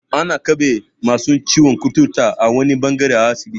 Ana keɓe masu ciwon kuturta a wani ɓangare a asibiti.